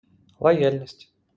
лояльность